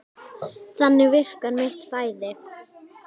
Þannig virkar mitt flæði.